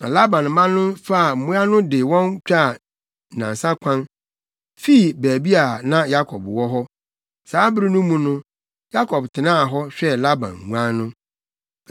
Na Laban mma no faa mmoa no de wɔn twaa nnansa kwan, fii baabi a na Yakob wɔ hɔ. Saa bere no mu no, Yakob tenaa hɔ, hwɛɛ Laban nguan no.